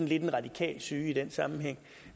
lidt en radikal syge i den sammenhæng